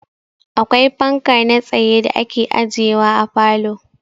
Akwai fanka na tsaye da ake ajewa a falo.